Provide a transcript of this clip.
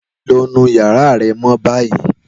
Lọ nu yara rẹ mọ ni bayi!